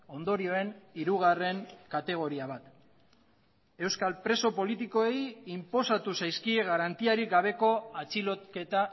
ondorioen hirugarren kategoria bat euskal preso politikoei inposatu zaizkie garantiarik gabeko atxiloketa